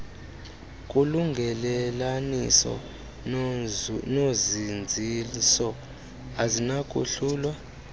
kulungelelaniso nozinziso azinakuhlulwa